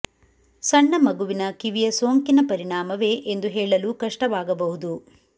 ಸಣ್ಣ ಮಗುವಿನ ಕಿವಿಯ ಕಿವಿಯ ಸೋಂಕಿನ ಪರಿಣಾಮವೇ ಎಂದು ಹೇಳಲು ಕಷ್ಟವಾಗಬಹುದು